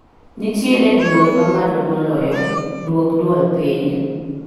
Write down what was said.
Nitiere dwol mamalo moloyo duok dwol piny